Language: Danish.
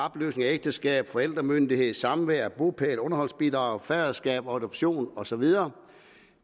opløsning af ægteskab forældremyndighed samvær bopæl underholdsbidrag faderskab adoption og så videre